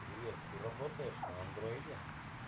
привет ты работаешь на андроиде